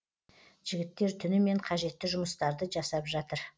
жігіттер түнімен қажетті жұмыстарды жасап жатыр